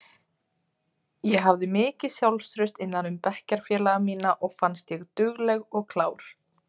Ég hafði mikið sjálfstraust innan um bekkjarfélaga mína og fannst ég dugleg og klár.